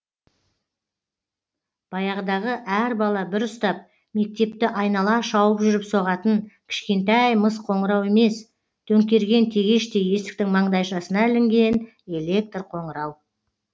баяғыдағы әр бала бір ұстап мектепті айнала шауып жүріп соғатын кішкентай мыс қоңырау емес төңкерген тегештей есіктің маңдайшасына ілінген электр қоңырау